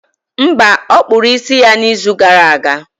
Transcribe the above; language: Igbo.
Mba, ọ kpụrụ isi ya n'izu gara aga.